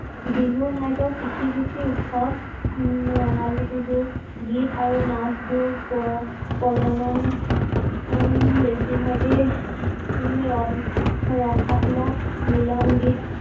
বিহু ঘইকৈ কৃযি ভিত্তিক উৎসৱ ৰঙালী বিহু গীত আৰু নাচ বোৰ প্ৰচলন হম বেছি ভাগে ৰসাত্মক মিলান গীত